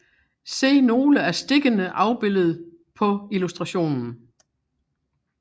Se nogle af stikkene afbildet på illustrationen